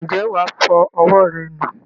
ǹjẹ́ wà á fọ ọwọ́ rẹ nù?